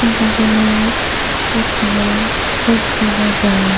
ubot ole bochede sobji bajar.